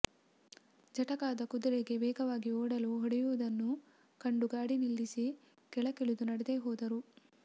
ಜಟಕಾದ ಕುದುರೆಗೆ ವೇಗವಾಗಿ ಓಡಲು ಹೊಡೆ ಯುವುದನ್ನು ಕಂಡು ಗಾಡಿ ನಿಲ್ಲಿಸಿ ಕೆಳಗಿಳಿದು ನಡೆದೇ ಹೋದರು